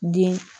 Den